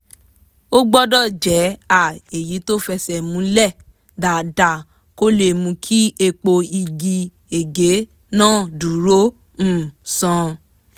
ó gbọ́dọ̀ jẹ́ um èyí tó fẹsẹ̀ múlẹ̀ dáadáa kó lè mú kí èèpo igi ege náà dúró um sán